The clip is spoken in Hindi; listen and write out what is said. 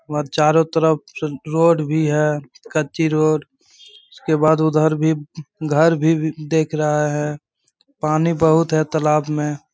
वह चारो तरफ सुल रोड भी है कच्ची रोड उसके बाद उधर भी घर भी भी देख रहा है पानी बहोत है तालाब में।